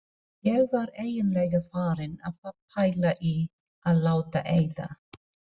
Ég var eiginlega farin að pæla í að láta eyða.